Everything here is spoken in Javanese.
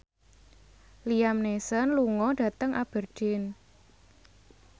Liam Neeson lunga dhateng Aberdeen